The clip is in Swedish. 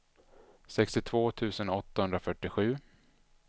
sextiotvå tusen åttahundrafyrtiosju